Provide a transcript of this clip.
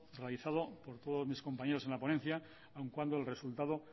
realizado por todos mis compañeros en la ponencia aun cuando el resultado